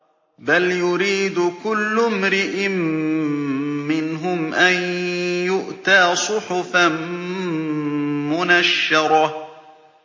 بَلْ يُرِيدُ كُلُّ امْرِئٍ مِّنْهُمْ أَن يُؤْتَىٰ صُحُفًا مُّنَشَّرَةً